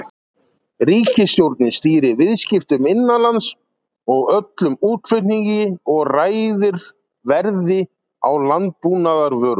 Ríkisstjórnin stýrir viðskiptum innanlands og öllum útflutningi og ræður verði á landbúnaðarvörum.